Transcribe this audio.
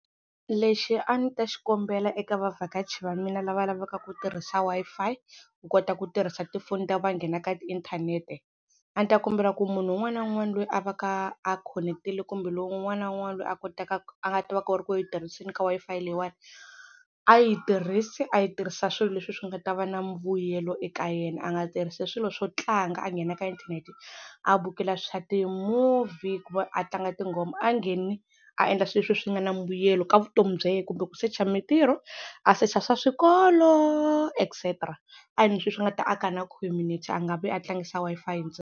Lexi a ni ta xikombela eka vavhakachi va mina lava lavaka ku tirhisa Wi-Fi ku kota ku tirhisa tifoni ta ku va nghena ka inthanete, a ni ta kombela ku munhu un'wana na un'wana lweyi a va ka a connect-ile kumbe lowu un'wana na un'wana a a nga ta va ku ri ku yi tirhiseni ka Wi-Fi leyiwani, a yi tirhisi a yi tirhisa swilo leswi swi nga ta va na mbuyelo eka yena, a nga tirhisa swilo swo tlanga a nghena ka inthanete a bukela swa ti-movie kumbe a tlanga tinghoma, a ngheni a endla swilo leswi swi nga na mbuyelo ka vutomi bya yehe kumbe ku secha mintirho, a secha swa swikolo etcetera, a endli swilo swi nga ta aka na community a nga vi a tlangisa Wi-Fi ntsena.